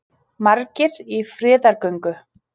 Margir í friðargöngu